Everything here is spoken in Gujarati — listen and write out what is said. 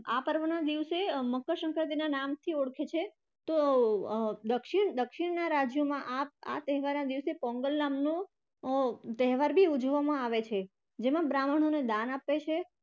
આ પર્વના દિવસે મકરસંક્રાંતિના નામ થી ઓળખે છે તો અર દક્ષીણના રાજ્યોમાં પોંગલ નામનો અર તહેવાર પણ ઉજવામાં આવે છે જેમાં બ્રાહ્મણોને દાન આપે છે.